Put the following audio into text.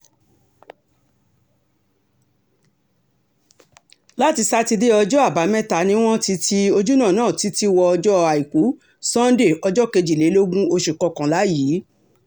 láti sátidé ọjọ́ àbámẹ́ta ni wọ́n ti ti ojúnà náà títí wọ ọjọ́ àìkú sànńdé ọjọ́ kejìlélógún oṣù kọkànlá yìí